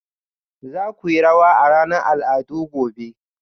za ku yi rawa a ranar al'adu gobe